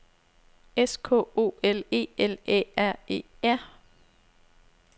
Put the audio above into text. S K O L E L Æ R E R